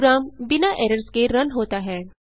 programme बिना errors के run होता है